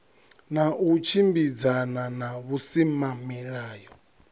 na u tshimbidzana na vhusimamilayo